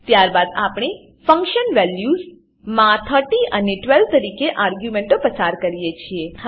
ત્યારબાદ આપણે function values function values માં 30 અને 12 તરીકે આર્ગ્યુંમેંટો પસાર કરીએ છીએ